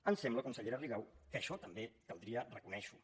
em sembla consellera rigau que això també caldria reconèixer ho